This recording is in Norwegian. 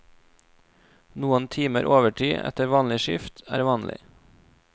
Noen timer overtid etter vanlig skift er vanlig.